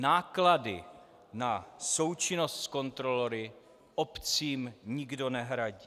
Náklady na součinnost s kontrolory obcím nikdo nehradí.